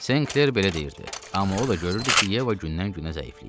Senkler belə deyirdi, amma o da görürdü ki, Yeva gündən-günə zəifləyir.